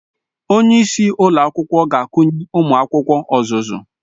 Onye isi ụlọ akwụkwọ ga-akụnye ụmụ akwụkwọ ọzụzụ